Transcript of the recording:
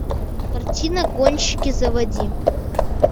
картина гонщики заводи